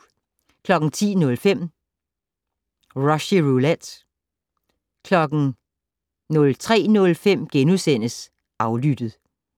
10:05: Rushys Roulette 03:05: Aflyttet *